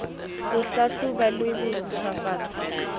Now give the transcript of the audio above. ho hlahloba le ho ntjhafatsa